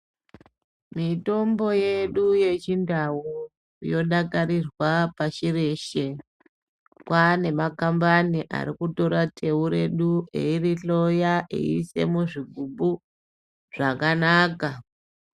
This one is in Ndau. Mitombo yedu yeChiNdau yodakarirwa pashi reshe. Kwaa nemakambani ari kutora teu redu eirihloya eiise muzvigubhu zvakanaka.